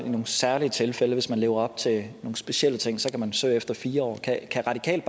i nogle særlige tilfælde hvis man lever op til nogle specielle ting så kan man søge efter fire år kan radikale